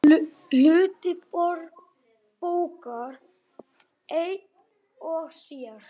Hluti bókar einn og sér.